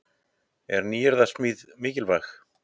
En er nýyrðasmíðin mikilvæg?